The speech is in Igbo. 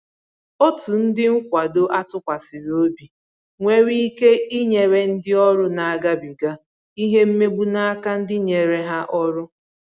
Ọtu ndị nkwado a tụkwasịrị obi nwere ike inyere ndị ọrụ na-agabiga ìhè mmegbu na áká ndi nyere ha ọrụ